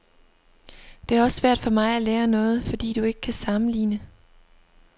Det er også svært for mig at lære noget, fordi du ikke kan sammenligne.